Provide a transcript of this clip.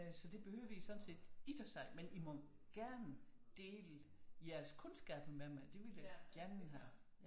Så det behøves I sådan set ikke at sige men I må gerne dele jeres kundskaber med mig det vil jeg gerne have